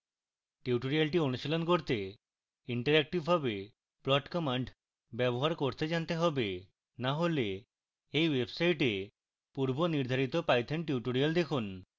tutorial অনুশীলন করতে ইন্টারেক্টিভরূপে plot command ব্যবহার করতে জানতে হবে